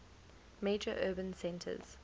major urban centres